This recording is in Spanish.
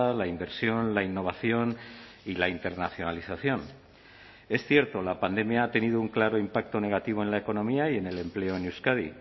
la inversión la innovación y la internacionalización es cierto la pandemia ha tenido un claro impacto negativo en la economía y en el empleo en euskadi